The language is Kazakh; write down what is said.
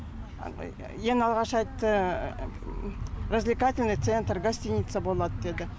ең алғаш айтты развлекательный центр гостиница болады деді